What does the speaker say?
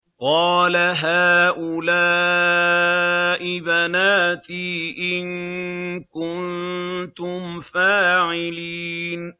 قَالَ هَٰؤُلَاءِ بَنَاتِي إِن كُنتُمْ فَاعِلِينَ